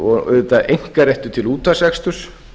og auðvitað einkaréttur til útvarpsreksturs